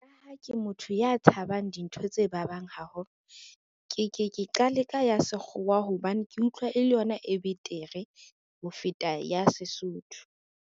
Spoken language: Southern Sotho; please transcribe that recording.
Ka ha ke motho ya tshabang dintho tse babang haholo, ke ke ke qale ka ya Sekgowa hobane ke utlwa e le yona e betere ho feta ya Sesotho.